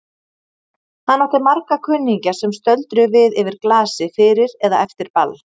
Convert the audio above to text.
Hann átti marga kunningja sem stöldruðu við yfir glasi fyrir eða eftir ball.